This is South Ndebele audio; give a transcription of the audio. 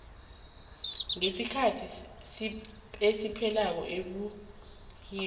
ngesikhethu siphekela esibuyeni